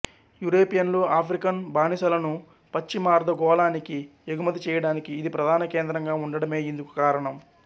యురేపియన్లు African బానిసలను పశ్చిమార్ధగోళానికి ఎగుమతి చేయడానికి ఇది ప్రధాన కేంద్రంగా ఉండడమే ఇందుకు కారణం